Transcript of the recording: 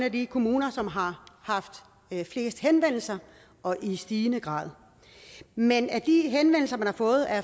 af de kommuner som har haft flest henvendelser og i stigende grad men af de henvendelser man har fået er